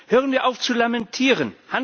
Hören wir auf zu lamentieren!